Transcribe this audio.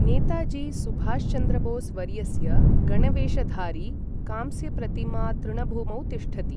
नेताजी सुभाषचन्द्र बोस् वर्यस्य गणवेशधारि कांस्यप्रतिमा तृणभूमौ तिष्ठति।